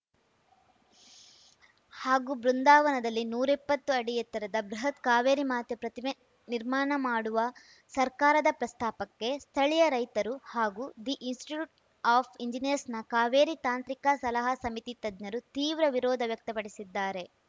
ಹಾಗೂ ಬೃಂದಾವನದಲ್ಲಿ ನೂರಿಪ್ಪತ್ತು ಅಡಿ ಎತ್ತರದ ಬೃಹತ್‌ ಕಾವೇರಿ ಮಾತೆ ಪ್ರತಿಮೆ ನಿರ್ಮಾಣ ಮಾಡುವ ಸರ್ಕಾರದ ಪ್ರಸ್ತಾಪಕ್ಕೆ ಸ್ಥಳೀಯ ರೈತರು ಹಾಗೂ ದಿ ಇನ್‌ಸ್ಟಿಟ್ಯೂಟ್‌ ಆಫ್‌ ಇಂಜಿನಿಯರ್ಸ್‌ನ ಕಾವೇರಿ ತಾಂತ್ರಿಕ ಸಲಹಾ ಸಮಿತಿ ತಜ್ಞರು ತೀವ್ರ ವಿರೋಧ ವ್ಯಕ್ತಪಡಿಸಿದ್ದಾರೆ